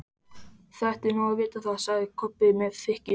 Þið ættuð nú að vita það, sagði Kobbi með þykkju.